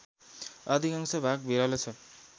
अधिकांश भाग भिरालो छ